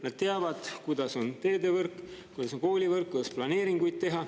Nad teavad, kuidas on teedevõrk, kuidas on koolivõrk, kuidas planeeringuid teha.